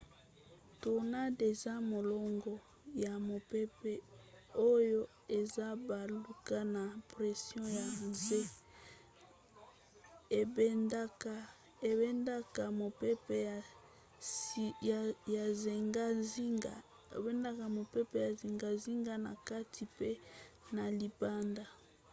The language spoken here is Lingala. tornade eza molongo ya mopepe oyo ezobaluka na pression ya nse ebendaka mopepe ya zingazinga na kati mpe na libanda